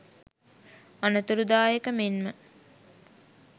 අනතුරුදායක මෙන්ම